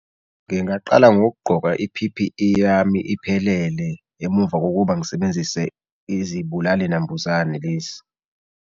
Ngingaqala ngokugqoka i-P_P_E yami iphelele emuva kokuba ngisebenzise izibulali nambuzane lezi.